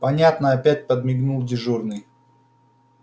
понятно опять подмигнул дежурный